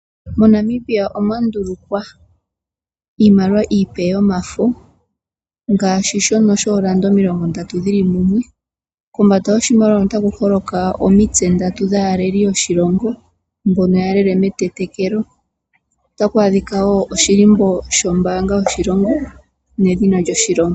MoNamibia omwa ndulukwa iimaliwa iipe yomafo ngaashi shono shoolanda omilongo ndatu shili mumwe. Kombanda yoshimaliwa hono otaku holoka omitse ndatu dhaaleli yoshilongo mbono yalele metetekelo. Otaku adhika wo edhina lyombanga yoshilongo nedhina lyoshilongo.